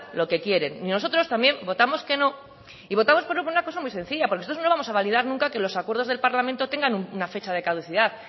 lo que quiere y nosotros también votamos que no y votamos por una cosa muy sencilla porque nosotros no vamos a validar nunca que los acuerdos del parlamento tengan una fecha de caducidad